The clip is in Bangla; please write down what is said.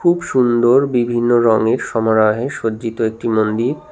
খুব সুন্দর বিভিন্ন রংয়ের সমরাহে সজ্জিত একটি মন্দির।